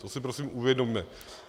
To si prosím uvědomme.